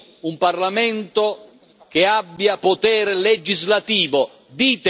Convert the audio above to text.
Primo un Parlamento che abbia potere legislativo.